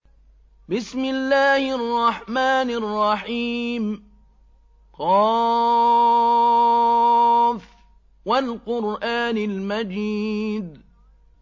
ق ۚ وَالْقُرْآنِ الْمَجِيدِ